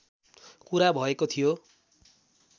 कुरा भएको थियो